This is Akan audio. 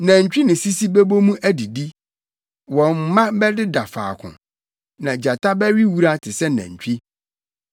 Nantwi ne sisi bɛbɔ mu adidi, wɔn mma bɛdeda faako, na gyata bɛwe wura te sɛ nantwi.